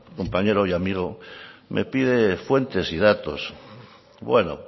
compañero y amigo me pide fuentes y datos bueno